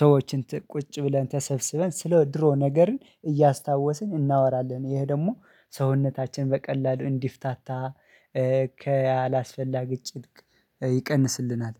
ሰዎችን ቁጭ ብለን ተሰብስበን ስለ ድሮ ነገርን እያስታወስን እናወራለን። ይሄ ደግሞ ሰውነታችን በቀላሉ እንዲፍታታ ከአላስፈላጊ ጭንቀት ይቀንስልናል